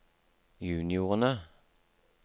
juniorene